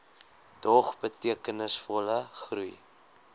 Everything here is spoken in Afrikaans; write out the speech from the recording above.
dog betekenisvolle groei